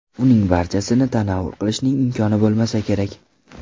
Uning barchasini tanovul qilishning imkoni bo‘lmasa kerak.